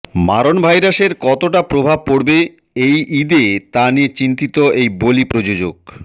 মারণ ভাইরাসের কতটা প্রভাব পড়বে এই ইদে তা নিয়ে চিন্তিত এই বলি প্রযোজক